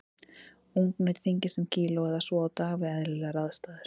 Ungnaut þyngist um kíló eða svo á dag við eðlilegar aðstæður.